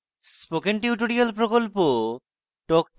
spoken tutorial প্রকল্প talk to a teacher প্রকল্পের অংশবিশেষ